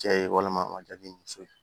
Cɛ ye walima a ma ja ni muso ye